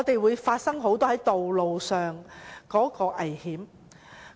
會否發生很多道路上的意外？